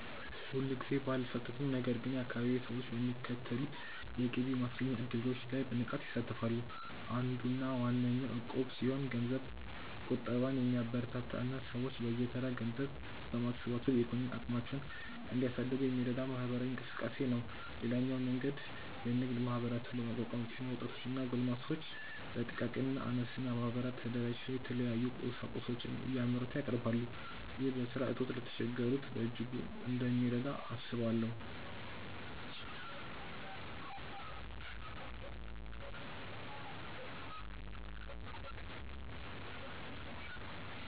እኔ ሁልጊዜ ባልሳተፍም ነገር ግን የአካባቢዬ ሰዎች በሚከተሉት የገቢ ማስገኛ እድሎች ላይ በንቃት ይሳተፋሉ። አንዱና ዋነኛው እቁብ ሲሆን ገንዘብ ቁጠባን የሚያበረታታ እና ሰዎች በየተራ ገንዘብ በማሰባሰብ የኢኮኖሚ አቅማቸውን እንዲያሳድጉ የሚረዳ ማህበራዊ እንቅስቃሴ ነው። ሌላኛው መንገድ የንግድ ማህበራትን በማቋቋም ሲሆን ወጣቶች እና ጎልማሶች በጥቃቅንና አነስተኛ ማህበራት ተደራጅተው የተለያዩ ቁሳቁሶችን እያመረቱ ያቀርባሉ። ይህ በስራ እጦት ለተቸገሩት በእጅጉ እንደሚረዳ አስባለሁ።